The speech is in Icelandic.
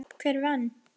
Hver vann?